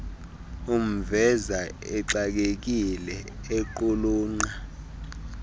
umveza exakekile equlunqa